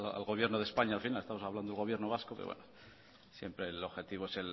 al gobierno de españa al final estamos hablando del gobierno vasco pero bueno siempre el objetivo es